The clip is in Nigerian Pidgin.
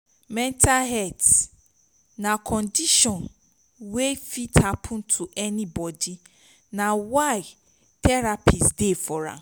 mental health na condision wey fit hapun to anybodi na why therapist dey for am